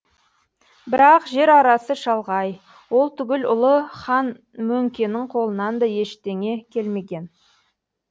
бірақ жер арасы шалғай ол түгіл ұлы хан мөңкенің қолынан да ештеңе келмеген